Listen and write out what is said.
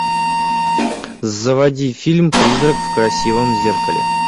заводи фильм призрак в красивом зеркале